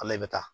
Ale i bɛ taa